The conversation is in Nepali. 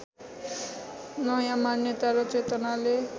नयाँ मान्यता र चेतनाले